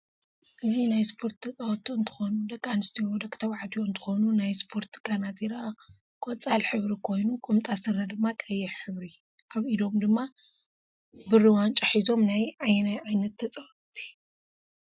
እዚ ናይ እስፖርት ተፃወቲ እንትኮኑ ደቂ አንስትዮ ደቂ ተባዒትዮ አንትኮኑ ናይ አሰፖረት ከናቲራ ቀፃሊ ሕብሪ ኮይኑ ቁምጣ ስረ ድማ ቀይሕ ሕብሪ አብ ኢደም ድማ ብሪ ዋንጫ ሕዞም ናይ ዓየናይ ዓይነት ተፃወቲ እነዮም?